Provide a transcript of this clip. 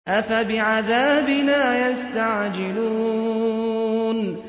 أَفَبِعَذَابِنَا يَسْتَعْجِلُونَ